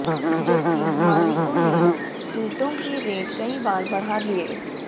जबकि मालिकों ने ईटों के रेट कई बार बढ़ा लिए